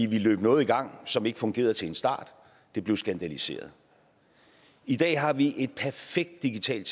vi løb noget i gang som ikke fungerede til en start det blev skandaliseret i dag har vi et perfekt digitalt